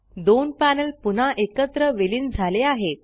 दोन पॅनल पुन्हा एकत्र विलीन झाले आहेत